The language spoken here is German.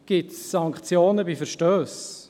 Gibt es Sanktionen bei Verstössen?